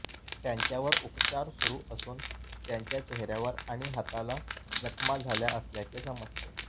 त्यांच्यावर उपचार सुरू असून त्यांच्या चेहर्यावर आणि हाताला जखमा झाल्या असल्याचे समजते